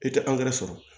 I tɛ sɔrɔ